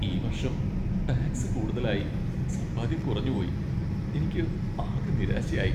ഈ വർഷം ടാക്സ് കൂടുതലായി സമ്പാദ്യം കുറഞ്ഞു പോയി. എനിക്ക് ആകെ നിരാശയായി.